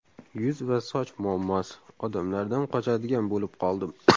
Yuz va soch muammosi: Odamlardan qochadigan bo‘lib qoldim.